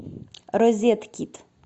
розетки